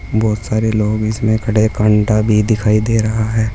बहोत सारे लोग इसमें खड़े कांटा भी दिखाई दे रहा है।